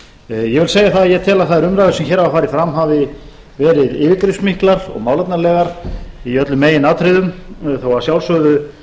ég vil segja það að ég tel að þær umræður sem hér hafa farið fram hafi verið yfirgripsmiklar og málefnalegar í öllum meginatriðum þó að sjálfsögðu